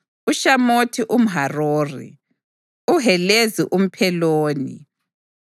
uShamothi umHarori, uHelezi umPheloni,